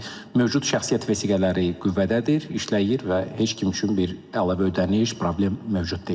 Yəni mövcud şəxsiyyət vəsiqələri qüvvədədir, işləyir və heç kim üçün bir əlavə ödəniş, problem mövcud deyil.